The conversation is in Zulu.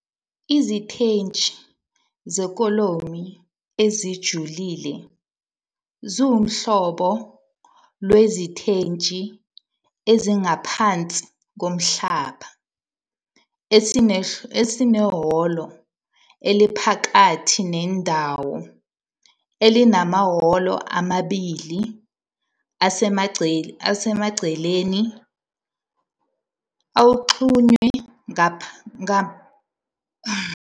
Isiteshi sekholomu esijulile siwuhlobo lwesiteshi esingaphansi komhlaba esinehholo eliphakathi nendawo elinamahholo amabili asemaceleni axhunywe ngamapaseji anjengendandatho phakathi kolayini wezinsika. Ngokuya ngohlobo lwesiteshi, amasongo adlulisa umthwalo kumakholomu kungaba "ngamakhothamo ahlanganisiwe" noma ngama- purlins, akha "ikholomu-purlin complex".